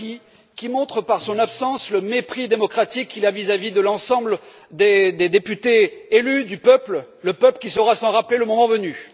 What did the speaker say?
Draghi, qui montre par son absence le mépris démocratique qu'il a vis à vis de l'ensemble des députés élus par le peuple, qui saura s'en rappeler le moment venu.